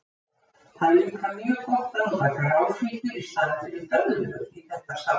Það er líka mjög gott að nota gráfíkjur í staðinn fyrir döðlur í þetta salat.